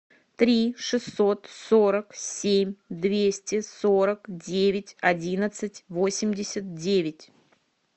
три шестьсот сорок семь двести сорок девять одиннадцать восемьдесят девять